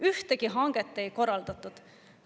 Ühtegi hanget ei korraldatud.